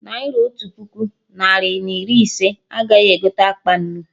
Naira Otu puku, narị na iri ise, agaghị egote akpa nnu